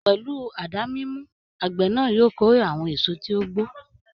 Pẹ̀lú àdá mímú, àgbè náà yóò kórè àwọn èso tí ó gbó.